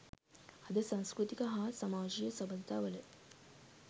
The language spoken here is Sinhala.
අද සංස්කෘතික හා සමාජයීය සබඳතාවල